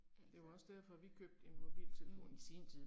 Altså. Mh